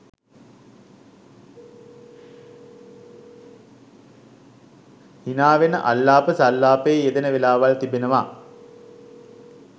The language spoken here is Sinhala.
හිනාවෙන අල්ලාප සල්ලාපයේ යෙදෙන වෙලාවල් තිබෙනවා.